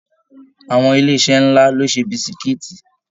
Àwọn ilé iṣẹ nlá lo n ṣe bisikiiti.